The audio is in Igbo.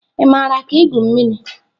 Ị maara ka igwu mmiri?